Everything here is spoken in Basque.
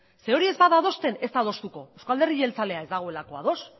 zeren hori ez bada adosten ez da adostuko euzko alderdi jeltzalea ez dagoelako ados